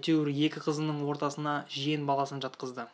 әйтеуір екі қызының ортасына жиен баласын жатқызды